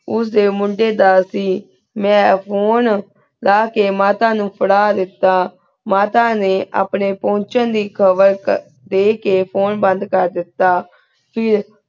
ਉਸ ਮੁੰਡੀ ਦਾ ਸੀ ਮੈਂ phone ਲਾ ਕੀ ਮਾਤਾ ਨੂ ਫੇਰਾ ਦੇਤਾ ਮਾਤਾ ਨੀ ਅਪਨ੍ਯਨ ਪੁਨ੍ਚ੍ਨ ਦੀ ਖਬਰ ਦੀ ਕੀ phone ਬੰਦ ਕੇਰ ਦੇਤਾ ਫੇਰ